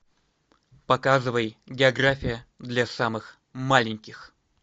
показывай география для самых маленьких